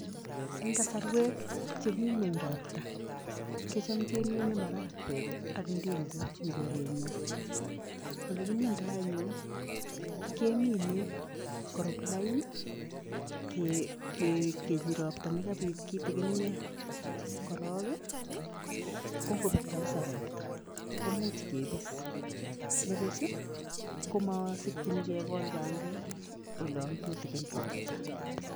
En kasorwek chemi ngweny ropta kocham kemine marakwek ak ndenguk en korenyon, olekimindoo anyun, kemine korup lain, ropta nekapit kitikiniet korong ko ngopet kabsa ropta komuch kebis, nibuch ii komokisikyin kekol bandek olan tutikin ropta.